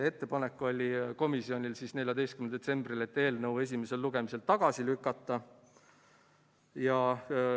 Ettepanek oli komisjonil 14. detsembril selline, et eelnõu tuleb esimesel lugemisel tagasi lükata.